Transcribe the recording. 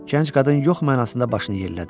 Gənc qadın yox mənasında başını yellədi.